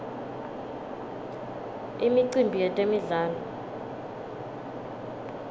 imicimbi yetemdlalo